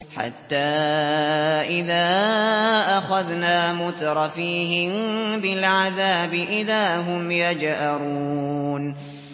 حَتَّىٰ إِذَا أَخَذْنَا مُتْرَفِيهِم بِالْعَذَابِ إِذَا هُمْ يَجْأَرُونَ